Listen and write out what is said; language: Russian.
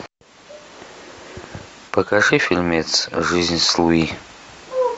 покажи фильмец жизнь с луи